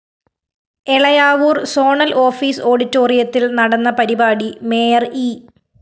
Elayavoor‍ zonal office ഓഡിറ്റോറിയത്തില്‍ നടന്ന പരിപാടി മേയർ ഇ